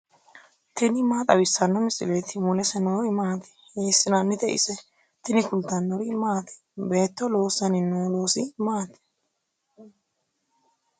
tini maa xawissanno misileeti ? mulese noori maati ? hiissinannite ise ? tini kultannori maati? Beetto loosanni noo loosi maatti?